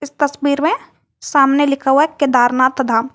इस तस्वीर में सामने लिखा हुआ केदारनाथ धाम।